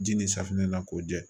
Ji ni safinɛ na k'o jɛ